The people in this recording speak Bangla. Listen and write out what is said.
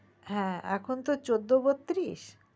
হে এখন তো চোদ্দো বতত্রিশ